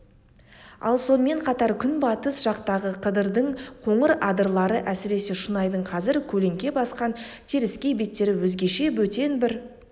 ал сонымен қатар күнбатыс жақтағы қыдырдың қоңыр адырлары әсіресе шұнайдың қазір көлеңке басқан теріскей беттері өзгеше бөтен бір